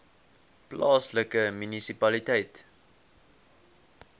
plaaslike munisipaliteit